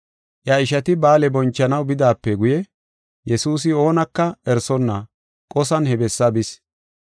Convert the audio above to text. Iya ishati ba7aale bonchanaw bidaape guye Yesuusi oonaka erisonna qosan he bessaa bis.